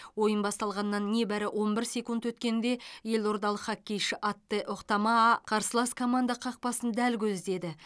ойын басталғанына небәрі он бір секунд өткенде елордалық хоккейші атте охтамаа қарсылас команда қақпасын дәл көздеді